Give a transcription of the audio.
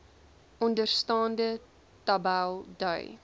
onderstaande tabel dui